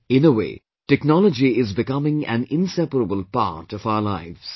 In a way, technology is becoming an inseparable part of our lives